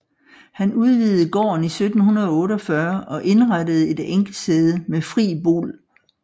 Han udvidede gården i 1748 og indrettede et enkesæde med fri bol